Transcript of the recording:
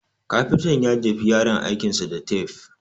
Kafintan ya jefi yaron aikin sa da tafe